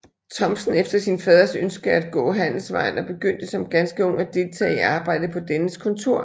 Thomsen efter sin faders ønske at gå handelsvejen og begyndte som ganske ung at deltage i arbejdet på dennes kontor